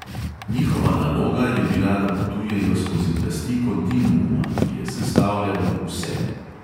Njihova naloga je bila, da potujejo skozi plasti kontinuuma, ki je sestavljal vse.